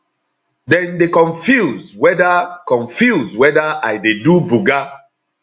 dem dey confuse weda confuse weda i dey do buga